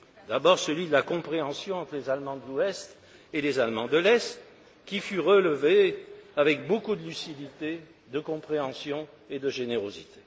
D'abord celui de la compréhension entre les Allemands de l'Ouest et les Allemands de l'Est, qui fut relevé avec beaucoup de lucidité, de compréhension et de générosité.